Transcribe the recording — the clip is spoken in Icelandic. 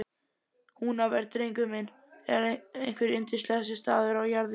Húnaver, drengur minn, er einhver yndislegasti staður á jarðríki.